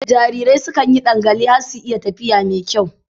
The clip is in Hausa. Jarirai sukan yi ɗangale har su iya tafiya mai kyau.